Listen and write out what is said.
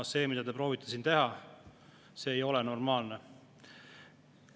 See, mida te proovite teha, ei ole normaalne.